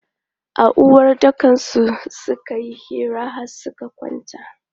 A uwaɗɗakansu suka yi hira har suka kwanta.